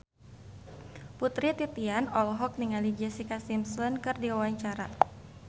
Putri Titian olohok ningali Jessica Simpson keur diwawancara